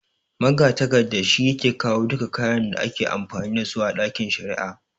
Magatakarda shi yake kawo duka kayan da ake amfani dasu a ɗakin shari'a